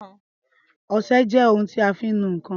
Ọsẹ jẹ́ ohun tí a fi ń nu ǹkan